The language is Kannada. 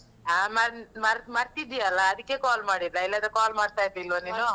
ಆ ಮರ್~ ಮರ್~ ಮರ್ತಿದ್ದೀಯಲ್ಲ? ಅದಿಕ್ಕೆ call ಮಾಡಿದ್ದು ನಾ, ಇಲ್ಲಾದ್ರೆ call ಮಾಡ್ತಾ ಇರ್ಲಿಲ್ವಾ ನೀನು?